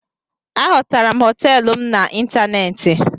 Ahotara m hoteelu m na ịntanéétị